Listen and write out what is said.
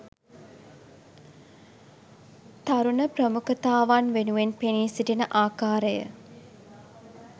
තරුණ ප්‍රමුඛතාවන් වෙනුවෙන් පෙනී සිටින ආකාරය